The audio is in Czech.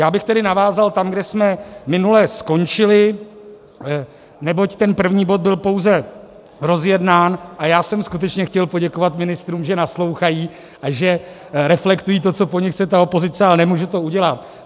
Já bych tedy navázal tam, kde jsme minule skončili, neboť ten první bod byl pouze rozjednán, a já jsem skutečně chtěl poděkovat ministrům, že naslouchají a že reflektují to, co po nich chce ta opozice, a nemůže to udělat.